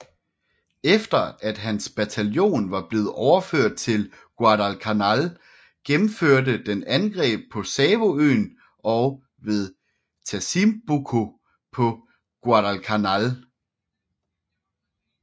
Efter at hans bataljon var blevet overført til Guadalcanal gennemførte den angreb på Savoøen og ved Tasimboko på Guadalcanal